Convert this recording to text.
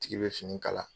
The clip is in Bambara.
Tigi bɛ fini kala